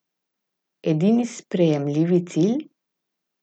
Edini sprejemljivi cilj?